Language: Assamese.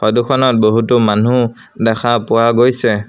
ফটো খনত বহুতো মানুহ দেখা পোৱা গৈছে।